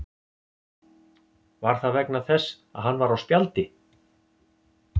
Var það vegna þess að hann var á spjaldi?